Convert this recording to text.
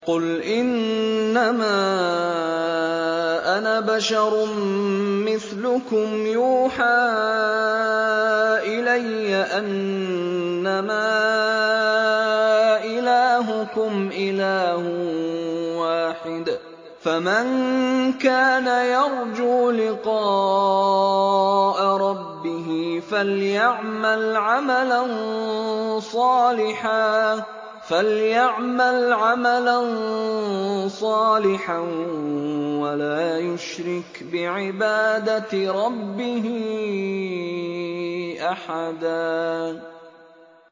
قُلْ إِنَّمَا أَنَا بَشَرٌ مِّثْلُكُمْ يُوحَىٰ إِلَيَّ أَنَّمَا إِلَٰهُكُمْ إِلَٰهٌ وَاحِدٌ ۖ فَمَن كَانَ يَرْجُو لِقَاءَ رَبِّهِ فَلْيَعْمَلْ عَمَلًا صَالِحًا وَلَا يُشْرِكْ بِعِبَادَةِ رَبِّهِ أَحَدًا